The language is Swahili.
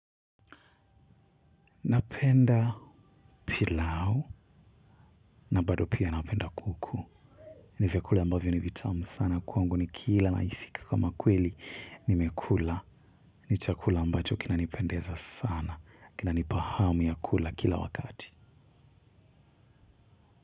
Napenda pilau na bado pia napenda kuku. Ni vyakula ambavyo ni vitamu sana kwangu nikila nahisi kama kweli nimekula. Ni chakula ambacho kinanipendeza sana. Kinanipa hamu ya kula kila wakati.